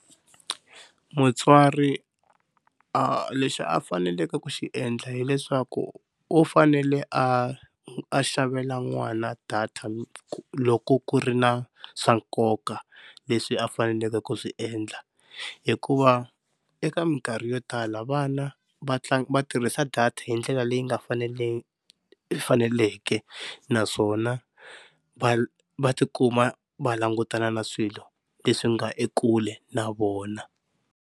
Mutswari a leswi a faneleke ku xi endla hileswaku u fanele a a xavela n'wana data loko ku ri na swa nkoka leswi a faneleke ku swi endla, hikuva eka minkarhi yo tala vana va va tirhisa data hi ndlela leyi nga faneleke naswona va va tikuma va langutana na swilo leswi nga ekule na vona.